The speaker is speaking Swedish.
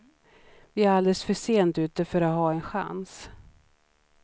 Vi är alldeles för sent ute för att ha en chans.